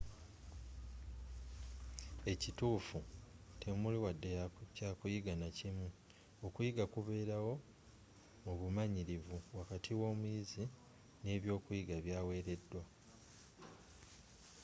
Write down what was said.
ekituufu temuli wadde kyakuyiga nakimu okuyiga kubeerawo mu bumanyirivu wakati w'omuyizi ne byokuyiga byawereddwa